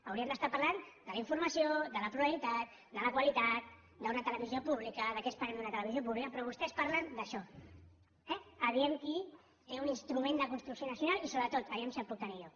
hauríem d’estar parlant de la informació de la pluralitat de la qualitat d’una televisió pública de què esperem d’una televisió pública però vostès parlen d’això eh vejam qui té un instrument de construcció nacional i sobretot vejam si el puc tenir jo